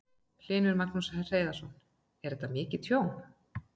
Magnús Hlynur Hreiðarsson: Er mikið tjón?